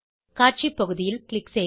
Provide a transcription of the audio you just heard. காட்சி பகுதியில் க்ளிக் செய்க